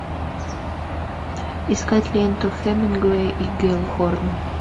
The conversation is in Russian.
искать ленту хемингуэй и геллхорн